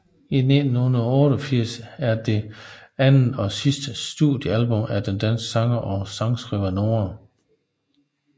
1988 er det andet og sidste studiealbum af den danske sanger og sangskriver Noah